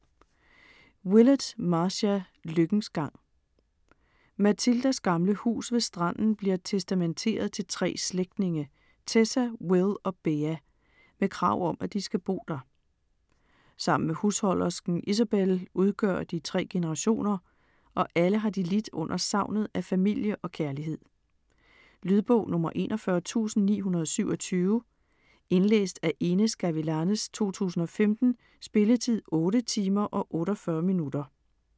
Willett, Marcia: Lykkens gang Mathildas gamle hus ved stranden bliver testamenteret til 3 slægtninge, Tessa, Will og Bea, med krav om at de skal bo der. Sammen med husholdersken Isobel udgør de 3 generationer, og alle har de lidt under savnet af familie og kærlighed. Lydbog 41927 Indlæst af Inez Gavilanes, 2015. Spilletid: 8 timer, 48 minutter.